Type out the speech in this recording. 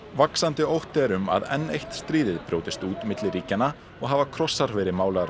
vaxandi ótti er um að enn eitt stríð brjótist út milli ríkjanna og hafa krossar verið málaðir á